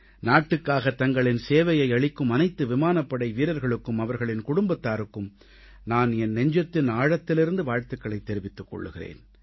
நாட்டுக்காக தங்களின் சேவையை அளிக்கும் அனைத்து விமானப்படை வீரர்களுக்கும் அவர்களின் குடும்பத்தாருக்கும் நான் என் நெஞ்சத்தின் ஆழத்திலிருந்து வாழ்த்துகளைத் தெரிவித்துக் கொள்கிறேன்